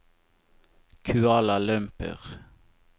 Kuala Lumpur